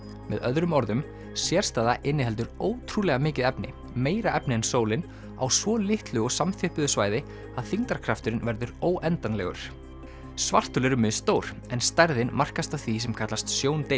með öðrum orðum sérstæða inniheldur ótrúlega mikið efni meira efni en sólin á svo litlu og samþjöppuðu svæði að þyngdarkrafturinn verður óendanlegur svarthol eru misstór en stærðin markast af því sem kallast